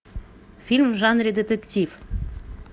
фильм в жанре детектив